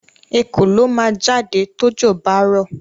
Ekòló ma jáde tójò bá rọ̀.